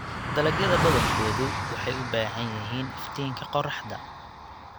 Dalagyada badankoodu waxay u baahan yihiin iftiinka qorraxda.